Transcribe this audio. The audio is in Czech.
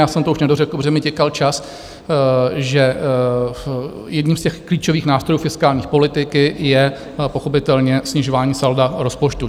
Já jsem to už nedořekl, protože mi tikal čas, že jedním z těch klíčových nástrojů fiskální politiky je pochopitelně snižování salda rozpočtu.